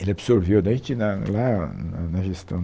Ele absorveu daí a gente na lá na na gestão...